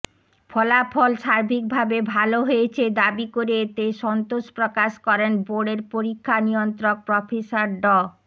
ফলাফল সার্বিকভাবে ভালো হয়েছে দাবি করে এতে সন্তোষ প্রকাশ করেন বোর্ডের পরীক্ষা নিয়ন্ত্রক প্রফেসর ড